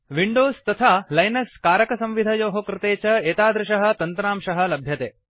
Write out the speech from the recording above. Windows तथा Linux कारकसंविधयोः कृते च एतादृशः तन्त्रांशः लभ्यते